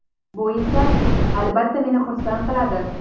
Bu esa, albatta, meni xursand qiladi.